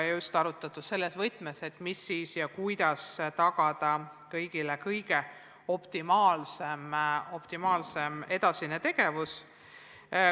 Oleme arutelusid pidanud just selles võtmes, kuidas tagada kõigile kõige optimaalsem edasine tegevus.